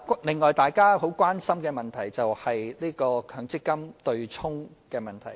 此外，大家十分關心的另一問題，就是強制性公積金"對沖"的問題。